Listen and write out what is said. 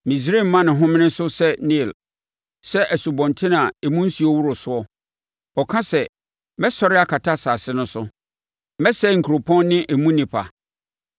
Misraim ma ne homene so sɛ Nil, sɛ nsubɔntene a emu nsuo woro soɔ. Ɔka sɛ, ‘Mɛsɔre akata asase no so; mɛsɛe nkuropɔn ne emu nnipa.’